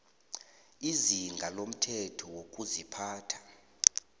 izinga lomthetho wokuziphatha